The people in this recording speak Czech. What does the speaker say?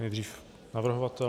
Nejdřív navrhovatel.